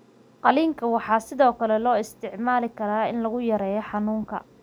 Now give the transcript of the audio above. Qalliinka waxaa sidoo kale loo isticmaali karaa in lagu yareeyo xanuunka.